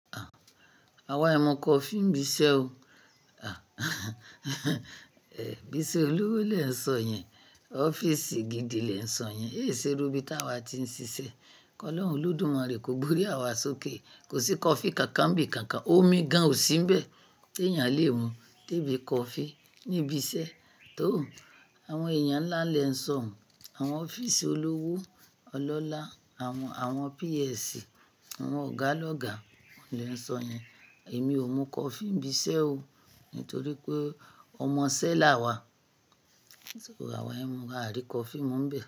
Àwọn ẹ mu coffee ń bisẹ́ o. Ibi iṣẹ́ olówó lẹ́ńsọ yẹn, ọ́fíìsì gidi lẹ́ńsọ yẹn, e ṣerú bí tí àwa ti ń ṣiṣẹ́. Ọlọ́run Olódùmarè kò gbórí àwa sókè. Kò sí coffee kankan bì kankan, omi gan ò sínbẹ̀ tí èèyàn lè mu dé bí coffee níbi iṣẹ́. Tò ó, àwọn èèyàn ńlá lẹ́ńsọ, àwọn ọ́fíìsì olówó, ọlọ́lá, àwọn, àwọn PS, àwọn ọ̀gá lọ́gá lẹ́ńsọ yẹn. Èmi ò mú coffee ń bisẹ́ o nítorí pé ọmọ isẹ́ làwa. Àwọn ẹmu á rí coffee mú ń bẹ̀